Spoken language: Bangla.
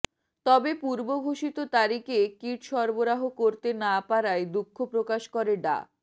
তবে পূর্ব ঘোষিত তারিখে কিট সরবরাহ করতে না পারায় দুঃখ প্রকাশ করে ডা